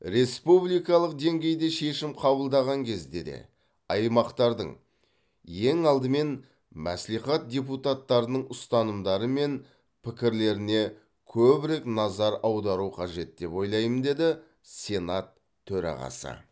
республикалық деңгейде шешім қабылдаған кезде де аймақтардың ең алдымен мәслихат депутаттарының ұстанымдары мен пікірлеріне көбірек назар аудару қажет деп ойлаймын деді сенат төрағасы